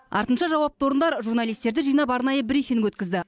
артынша жауапты орындар журналистерді жинап арнайы брифинг өткізді